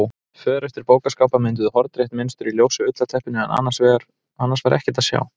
För eftir bókaskápa mynduðu hornrétt mynstur í ljósu ullarteppinu en annars var ekkert að sjá.